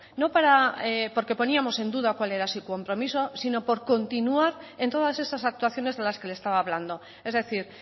no porque pusiéramos en duda cuál era su compromiso sino por continuar en todas esas actuaciones de las que les estaba hablando es decir